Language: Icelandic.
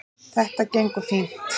Það gengur fínt